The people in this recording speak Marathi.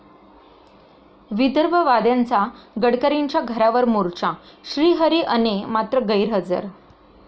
विदर्भवाद्यांचा गडकरींच्या घरावर मोर्चा, श्रीहरी अणे मात्र गैरहजर